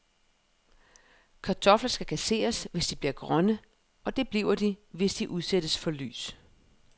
Kartofler skal kasseres, hvis de bliver grønne, og det bliver de, hvis de udsættes for lys.